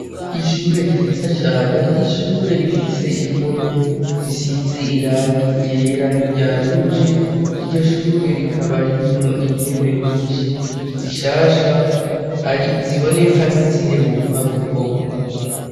Ishure ryiza cane ,ishure rifise impome zisize irangi ryera niryaruje, iryo shure rikaba ririmwo intebe nyinshi, zishasha ari ziboneka nk'iziheruka gukogwa.